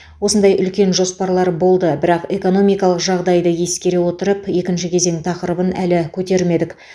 осындай үлкен жоспарлар болды бірақ экономикалық жағдайды ескере отырып екінші кезең тақырыбын әлі көтермедік